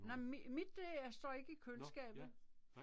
Nej mit det øh står ikke i køleskabet